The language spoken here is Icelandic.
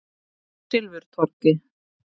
Silfurtorgi